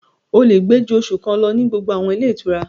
O lè gbé ju oṣù kan lọ ní gbogbo àwọn ilé ìtura